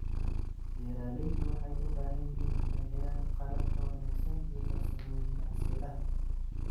Beeraleydu waxay u baahan yihiin inay helaan qalab ka wanaagsan iyo farsamooyin casri ah.